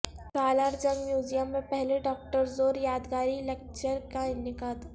سالار Jung museum میں پہلے doctor Zore یادگاری لکچر کا انعقاد